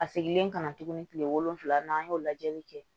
A segin ka na tuguni kile wolonwula n'an y'o lajɛli kɛ